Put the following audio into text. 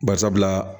Bari sabula